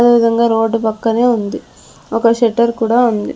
అదేవిధంగా రోడ్డు పక్కనే ఉంది ఒక షెటర్ కూడా ఉంది.